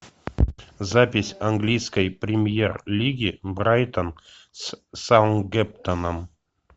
запись английской премьер лиги брайтон с саутгемптоном